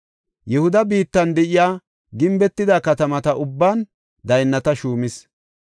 Yihuda biittan de7iya gimbetida katamata ubban daynnata shuumis.